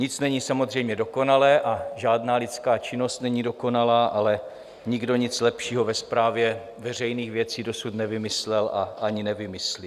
Nic není samozřejmě dokonalé a žádná lidská činnost není dokonalá, ale nikdo nic lepšího ve správě veřejných věcí dosud nevymyslel a ani nevymyslí.